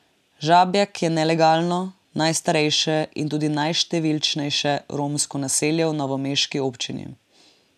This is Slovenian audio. Žabjak je nelegalno, najstarejše in tudi najštevilčnejše romsko naselje v novomeški občini.